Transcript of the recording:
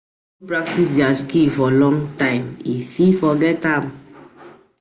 If persin no practice di skill for long time in fit forget di skill